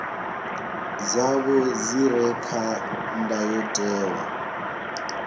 dzavho dzi re kha ndayotewa